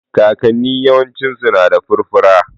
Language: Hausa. Kakanni yawancinsu na da furfura